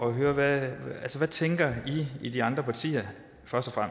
at høre hvad i tænker i de andre partier først og